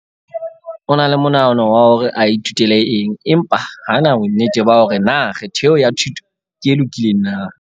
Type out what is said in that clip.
O na le monahano wa hore a ithutele eng empa ha a na bonnete ba hore na kgetho eo ya thuto ke e lokileng na.